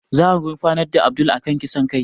Za a gurfanar da Abdul a kan kisan kai